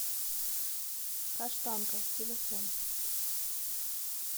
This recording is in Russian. каштанка телефон